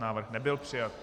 Návrh nebyl přijat.